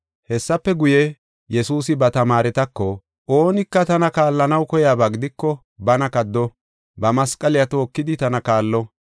Hessafe guye, Yesuusi ba tamaaretako, “Oonika tana kaallanaw koyaba gidiko bana kaddo, ba masqaliya tookidi tana kaallo.